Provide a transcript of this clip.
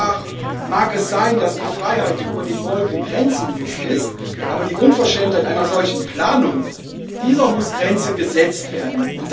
Zwar mag es sein, dass die Freiheit über den Wolken grenzenlos ist, aber der Unverschämtheit einer solchen Planung müssen Grenzen gesetzt werden.